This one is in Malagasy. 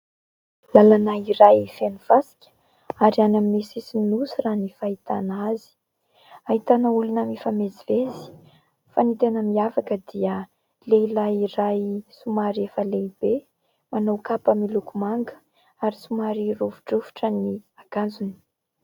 Lalana iray feno fasika ary any amin'ny sisiny nosy raha ny fahitana azy, ahitana olona mifamezivezy, fa ny tena miavaka dia lehilahy iray somary efa lehibe manao kapa miloko manga ary somary rovi-drovitra ny akanjony.